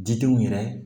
Didenw yɛrɛ